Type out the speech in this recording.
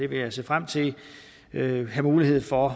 vil jeg se frem til mulighed for